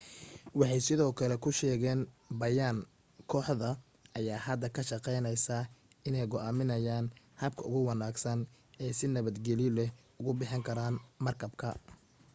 waxay sidoo kale ku sheegeen bayaan kooxda ayaa hadda ka shaqaynaysaa inay go'aamiyaan habka ugu wanaagsan ay si nabadgeliyo leh ugu bixin karaan markabka